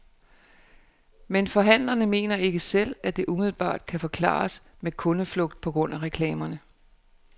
Men forhandlerne mener ikke selv, at det umiddelbart kan forklares med kundeflugt på grund af reklamerne.